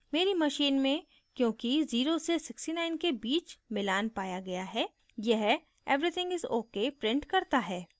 मेरी machine में क्योंकि 0 से 69 के बीच मिलान पाया गया है यह everything is ok prints करता है